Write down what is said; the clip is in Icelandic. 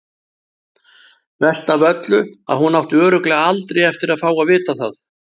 Verst af öllu að hún átti örugglega aldrei eftir að fá að vita það.